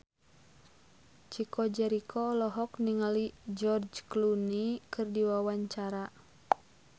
Chico Jericho olohok ningali George Clooney keur diwawancara